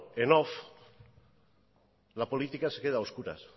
en off la política se queda a oscuras